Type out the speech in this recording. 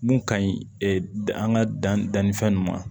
Mun ka ɲi an ka dan dannifɛn nunnu ma